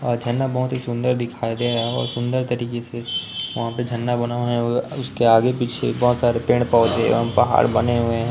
और झरना बहुत ही सुंदर दिखाई दे रहा है। और सुंदर तरीके से वहाँ पे झरना बना हुआ है। और उसके आगे-पीछे बहुत सारे पेड़ पौधे एवं पहाड़ बने हुए हैं।